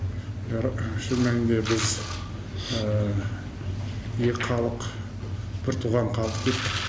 бәрі шын мәнінде біз екі халық біртуған халықпыз